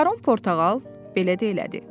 Baron Portağal belə də elədi.